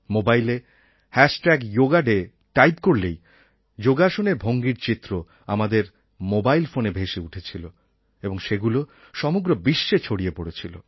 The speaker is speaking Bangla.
মোবাইলে হ্যাশট্যাগ যোগা ডে টাইপ করলেই যোগাসনের ভঙ্গির চিত্র আমাদের মোবাইল ফোনে ভেসে উঠছিলো এবং সেগুলো সমগ্র বিশ্বে ছড়িয়ে পড়েছিল